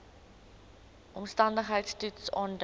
omstandigheids toets aandui